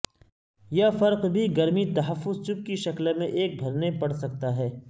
یہ فرق بھی گرمی تحفظ چپ کی شکل میں ایک بھرنے پڑ سکتا ہے